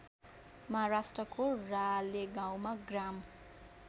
महाराष्ट्रको रालेगाउँमा ग्राम